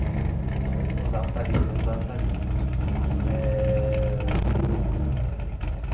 Então eles não usavam talit e eu usava talit eh.